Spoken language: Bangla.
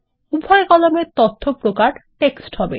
উভয় কলাম এর তথ্য প্রকার টেক্সট হবে